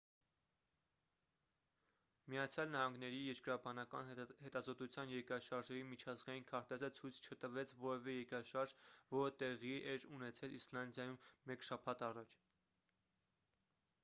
միացյալ նահանգների երկրաբանական հետազոտության երկրաշարժերի միջազգային քարտեզը ցույց չտվեց որևէ երկրաշարժ որը տեղի էր ունեցել իսլանդիայում մեկ շաբաթ առաջ